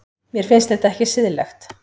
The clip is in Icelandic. Mér finnst þetta ekki siðlegt.